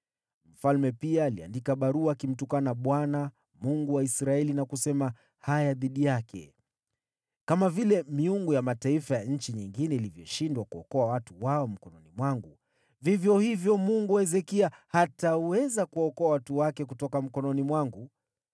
Mfalme pia aliandika barua akimtukana Bwana , Mungu wa Israeli na kusema haya dhidi yake: “Kama vile miungu ya mataifa ya nchi nyingine ilivyoshindwa kuwaokoa watu wao mkononi mwangu, vivyo hivyo Mungu wa Hezekia hataweza kuwaokoa watu wake kutoka mkononi mwangu.”